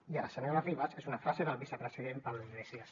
i a la senyora ribas que és una frase del vicepresident pablo iglesias